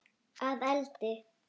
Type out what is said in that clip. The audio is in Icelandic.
Að eldi?